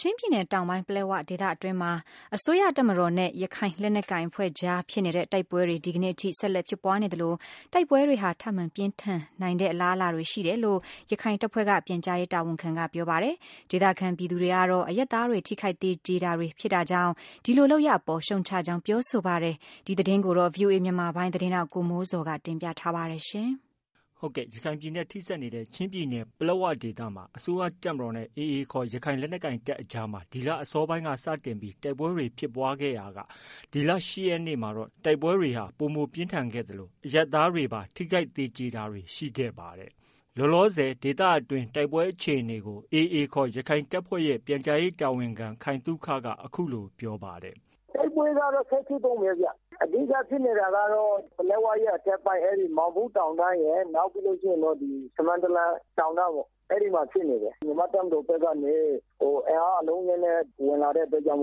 ချင်းပြည်နယ်တောင်ပိုင်း ပလက်ဝဒေသအတွင်းမှာ အစိုးရတပ်မတော်နဲ့ ရခိုင်လက်နက်ကိုင်အဖွဲ့ကြားမှာ တိုက်ပွဲတွေဟာ ဒီနေ့သောကြာနေ့အထိ ဆက်လက်ဖြစ်ပွားနေသလို တိုက်ပွဲတွေဟာ ထပ်မံပြင်းထန်နိုင်တဲ့ အလားလာတွေ ရှိနေတယ်လို့ ရခိုင်တပ်ဖွဲ့က ပြန်ကြားရေးတာဝန်ခံက ပြောပါတယ်။ ဒေသခံ ပြည်သူတွေကတော့ အရပ်သားတွေ ထိခိုက်သေကျေတာတွေဖြစ်တာကြောင့် ဒီလို လုပ်ရပ်အပေါ် ရှုတ်ချကြောင်း ပြောဆိုပါတယ်။ ဒီသတင်းကိုတော့ ဗီအိုအေ မြန်မာပိုင်းရဲ့သတင်းထောက် ကိုမိုးဇော်က တင်ပြထားပါတယ်။ ရခိုင်ပြည်နယ်နဲ့ ထိစပ်နေတဲ့ ချင်းပြည်နယ်ပလက်ဝဒေသမှာ အစိုးရတပ်မတော်နဲ့ AA ခေါ် ရခိုင်လက်နက်ကိုင်တပ်အကြားမှာ ဒီလ အစောပိုင်းကစတင်ပြီးတိုက်ပွဲတွေဖြစ်ပွားခဲ့ရာက နိုဝင်ဘာ ၈ရက်နေ့မှတော့ တိုက်ပွဲတွေဟာ ပိုမိုပြင်းထန်ခဲ့သလို အရပ်သားတွေပါ ထိခိုက်သေကြေတာတွေ ရှိခဲ့တာပါ။ လတ်တလော ဒေသတွင်း တိုက်ပွဲအခြေအနေကို AA ခေါ် ရခိုင်တပ်ဖွဲ့ရဲ့ ပြန်ကြားရေးတာဝန်ခံ ခိုင်သုခက အခုလို ပြောပါတယ်။ " တိုက်ပွဲကတော့ ဆက်ဖြစ်တုန်းပဲခင်ဗျ အဓိကဖြစ်နေတာက ပလက်ဝရဲ့အထက်ပိုင်း မောင်ဘုတောင်တန်း၊ ဆမန်းတလန်တောင်တန်းပေါ့ အဲ့ဒီ့မှာလည်းဖြစ်နေတယ်။ နောက်ပြီးတော့ ဒလက်ချောင်းအဝပိုင်းမှာလည်းဖြစ်နေတယ်။ အဲ့ဒီ့မှာ မြန်မာ့ တပ်မတော်ဘက်ကနေ အင်အားအလုံးအရင်းနဲ့တက်လာတဲ့နောက် ဒလက်ချောင်း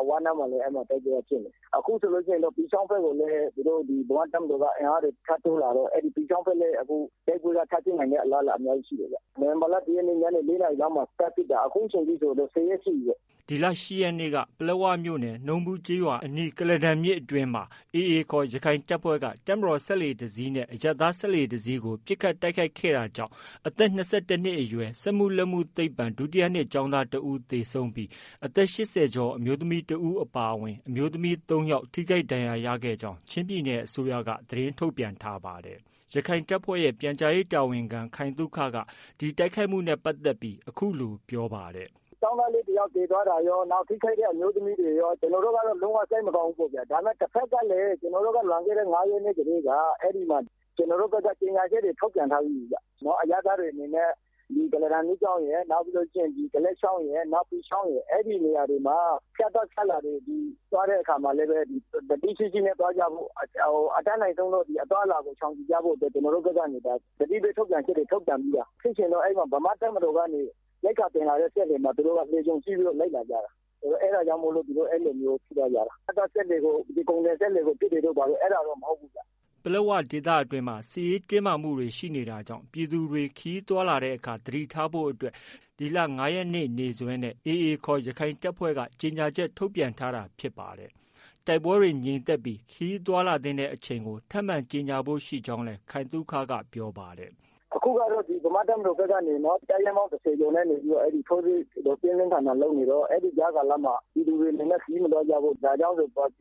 အဝနားမှာလည်း တိုက်ပွဲကဖြစ်နေတယ်။ အခုဆိုရင် ပီချောင်းဘက်ကိုလည်း မြန်မာ့တပ်မတော်ဘက်က အင်အားတွေ ထပ်တိုးလာလို့ အခုပီချောင်းဘက်လည်း အခုတိုက်ပွဲကထပ်ဖြစ်နိုင်တဲ့ အလားအလာက အများကြီးရှိတယ်ဗျ။ နိုဝင်ဘာလ ၁ရက်နေ့ ညနေ ၄နာရီလောက်မှာစတင်ပြီး စဖြစ်တာ အခုအချိန်အထိဆို ဆယ်ရက်ရှိပြီပေါ့။" ဒီလ ၈ရက်နေ့က ပလက်ဝမြို့နယ် နှုံးဘူးကျေးရွာအနီးမှာ AA ခေါ် ရခိုင်တပ်ဖွဲ့က တပ်မတော်စက်လှေတစီးနဲ့ အရပ်သားစက်လှေတစီးကို ပစ်ခတ်တိုက်ခိုက်ခဲ့တာကြောင့် ကုလားတန်မြစ် အသက် ၂၁နှစ်အရွယ် စက်မှုလက်မှုသိပ္ပံ ဒုတိယနှစ်ကျောင်းသား တဦးသေဆုံးပြီး အသက် ၈၀ကျော် အမျိုးသမီးတဦးအပါအဝင် အမျိုးသမီး ၃ယောက် ထိခိုက်ဒဏ်ရရှိကြောင်း ချင်းပြည်နယ် အစိုးရက သတင်းထုတ်ပြန် ထားပါတယ်။ ရခိုင်တပ်ဖွဲ့ရဲ့ ပြန်ကြားရေးတာဝန်ခံ ခိုင်သုခက ဒီတိုက်ခိုက်မှုနဲ့ပတ်သက်ပြီး အခုလို ပြောဆိုပါတယ်။ " ကျောင်းသားလေးတယောက်သေသွားတာရော နောက် ထိခိုက်တဲ့ အမျိုးသမီးတွေရော ကျနော်တို့ကတော့ လုံးဝ စိတ်မကောင်းဘူးပေါ့ဗျာ ဒါပေမဲ့ တဖက်ကလည်း ကျနော်တို့က လွန်ခဲ့တဲ့ငါးရက်နေ့ကတည်းက အဲ့ဒီ့မှာ ဒီကျနော်တို့ဘက်က ကြေညာချက်တွေ ထုတ်ပြန်ထားပြီးပြီဗျ။ အရပ်သားတွေအနေနဲ့ ကုလားတန်မြစ်ရယ် ဒလက်ချောင်းရယ် နောက် ပီချောင်းရယ် အဲ့ဒီ့နေရာတွေမှာ ဖြတ်သွားဖြတ်လာ သွားတဲ့အခါမှာလည်း သတိရှိရှိနဲ့သွားကြဖို့ အတတ်နိုင်ဆုံး အသွားအလာကို ရှောင်ကျဉ်ကြဖို့ ကျနော်တို့ဘက်ကနေ သတိပေးထုတ်ပြန်ချက်တွေ ထုတ်ပြန်ထားပြီးသား ဖြစ်ချင်တော့ ဗမာ့တပ်မတော်က ရိက္ခာတင်လာတဲ့စက်လှေမှာ သူတို့က လှေကြုံစီးပြီးတော့ လိုက်လာကြတာ အဲ့တာကြောင့်မို့လို့ အဲ့လိုမျိုး ဖြစ်သွားတာ ဖြတ်သွားတဲ့ ကုန်တင်စက်လှေကို ပစ်တယ်တို့ အဲ့တာတော့ မဟုတ်ဘူး။ " ပလက်ဝဒေသအတွင်းမှာ စစ်ရေးတင်းမာတာတွေ ရှိနေတာကြောင့် ပြည်သူတွေ ခရီးသွားတဲ့အခါ သတိထားဖို့ကို ဒီလ ၅ရက်နေ့နေ့စွဲနဲ့ AA ခေါ် ရခိုင်တပ်က ကြေညာချက် ထုတ်ပြန်ထားတာဖြစ်ပါတယ်။ တိုက်ပွဲ ငြိမ်သက်ပြီး ခရီးသွားလာသင့်တဲ့အချိန်ကို ထပ်မံ ကြေညာဖို့လည်း ရှိကြောင်း ခိုင်သုခက ဆက်ပြောပါတယ်။ " အခုကတော့ ဗမာ့တပ်မတော်ဘက်ကနေ တပ်ရင်းပေါင်း ၁၀ကျော် ထိုးစစ်ကို ပြင်းပြင်းထန်ထန် လုပ်နေတော့ ကြားကာလမှ ပြည်သူတွေအနေနဲ့ ခရီးမသွားကြဖို့ ပြ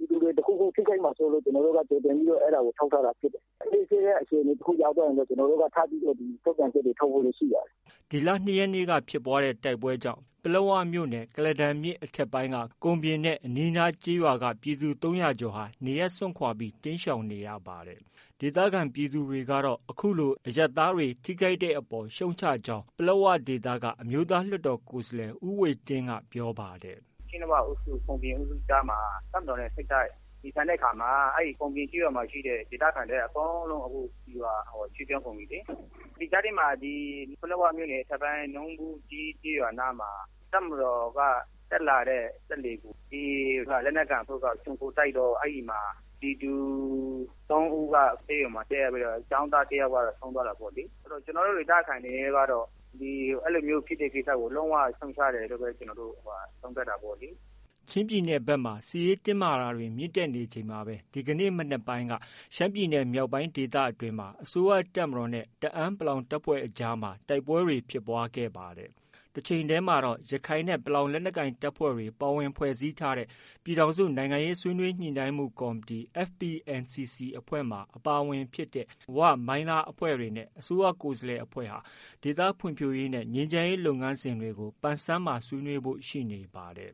ည်သူတွေ ထိခိုက်မှာစိုးလို့ ဒါကို ကျနော်တို့က ဒါကို ထုတ်ထားတာဖြစ်တယ် ကျနော်တို့ဘက်က အခြေအနေတွေကို အေးဆေးတဲ့အခြေအနေတခုရောက်သွားလို့ရှိရင် အခြေအနေတွေကို ထပ်ပြီးတော့ ထုတ်ပြန်ချက်တွေ ထုတ်ဖို့ရှိပါတယ်။" ဒီလ ၂ရက်နေ့က ဖြစ်ပွားခဲ့တဲ့ တိုက်ပွဲတွေကြောင့်လည်း ပလက်ဝမြို့နယ် ကုလားတန်မြစ် အထက်ပိုင်းက ကုန်ပြင်နဲ့ အနီးအနားကျေးရွာက ပြည်သူ ၃၀၀ကျော်ဟာ နေရပ်စွန့်ခွာ တိမ်းရှောင်နေရပါတယ်။ ဒေသခံပြည်သူတွေကတော့ အခုလို အရပ်သားတွေ ထိခိုက်ရတဲ့အပေါ် ရှုတ်ချကြောင်း ပလက်ဝဒေသက အမျိုးသားလွှတ်တော်ကိုယ်စားလှယ် ဦးဝှေ့တင်းက ပြောပါတယ်။ " ပလက်ဝက ကုန်ပြင်အုပ်စုကြားမှာ တပ်မတော်နဲ့ စစ်ဖြစ်တော့ အဲ့ဒီ့ကုန်ပြင်ကျေးရွာမှာ ရှိတဲ့ ဒေသခံတွေ အကုန်လုံး ရွှေ့ပြောင်းကုန်ပြီလေ။ ဒီကြားထဲမှာ ပလက်ဝမြို့နယ် အထက်ပိုင်း ကျေးရွာနားမှာ တပ်မတော်က တက်လာတဲ့စက်လှေကို AA လက်နက်ကိုင်အဖွဲ့က ခြုံခိုတိုက်တော့ ပြည်သူသုံးဦးက ဆေးရုံတက်ရပြီး ကျောင်းသား တယောက် ဆုံးသွားတာပေါ့ အဲ့ဒီ့တော့ ကျနော်တို့ ဒေသခံတွေ အနေနဲ့ကတော့ အဲ့လိုမျိုးဖြစ်တဲ့ကိစ္စကို လုံးဝ ရှုတ်ချတယ်လို့ပဲ ကျနော်တို့ကတော့ သုံးသပ်တာပေါ့လေ " ချင်းပြည်နယ်ဖက်မှာ စစ်ရေးတင်းမာတာတွေမြင့်တက်နေချိန်မှာပဲ ဒီကနေ့ မနက်ပိုင်းက ရှမ်းပြည်နယ်မြောက်ပိုင်းဒေသအတွင်းမှာ အစိုးရတပ်မတော်နဲ့ တအာင်း ပလောင် တပ်ဖွဲ့တွေ အကြားမှာ တိုက်ပွဲတွေဖြစ်ပွားနေပါတယ်။ တချိန်တည်းမှာတော့ ရခိုင်နဲ့ ပလောင် လက်နက်ကိုင်တပ်ဖွဲ့တွေ ပါဝင်ဖွဲ့စည်းထားတဲ့ ပြည်ထောင်စု နိုင်ငံရေးဆွေးနွေး ညှိနှိုင်းမှုကော်မတီ FPNCC အဖွဲ့ထဲမှာ ပါဝင်တဲ့ ဝနဲ့ မိုင်းလားအဖွဲ့တွေနဲ့ အစိုးရ ကိုယ်စားလှယ်အဖွဲ့ဟာ ဒေသဖွံ့ဖြိုးရေးနဲ့ ငြိမ်းချမ်းလုပ်ငန်စဉ်တွေ ဆွေးနွေးဖို့ ရှိနေပါတယ်။